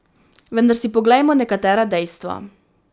Vendar si poglejmo nekatera dejstva.